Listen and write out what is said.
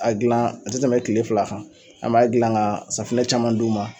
A gilan a tɛ tɛmɛ tile fila kan an b'a gilan ka safinɛ caman d'u ma.